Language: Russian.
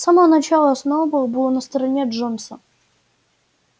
с самого начала сноуболл был на стороне джонса